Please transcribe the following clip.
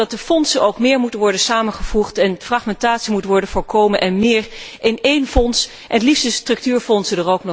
Zo vind ik ook dat de fondsen meer moeten worden samengevoegd en fragmentatie moet worden voorkomen, het liefst in één fonds, inclusief de structuurfondsen.